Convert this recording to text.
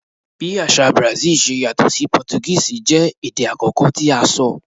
Bi aṣa ti Brazil ṣe yatọ si Portuguese jẹ ede akọkọ ti a sọ